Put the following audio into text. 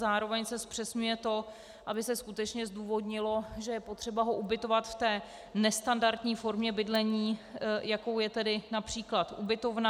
Zároveň se zpřesňuje to, aby se skutečně zdůvodnilo, že je potřeba ho ubytovat v té nestandardní formě bydlení, jakou je tedy například ubytovna.